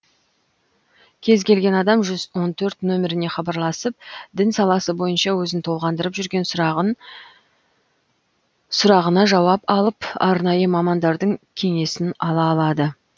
кез келген адам жүз он төрт номеріне хабарласып дін саласы бойынша өзін толғандырып жүрген сұрағына жауап алып арнайы мамандардың кеңесін ала алады